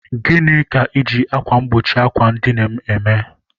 Gịnị ka iji akwa mgbochi àkwà edina m eme?